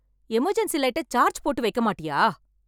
Emergency லைட்ட charge போட்டு வைக்க மாட்டியா?